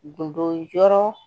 Gundo